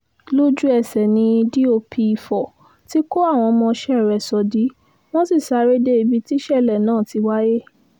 lójú-ẹsẹ̀ ni dọ̀p ifo ti kó àwọn ọmọọṣẹ́ rẹ̀ sódì wọ́n sì sáré dé ibi tíṣẹ̀lẹ̀ náà ti wáyé